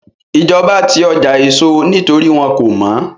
Ìjọba ti ọjà èso nítorí wọ́n kò mọ́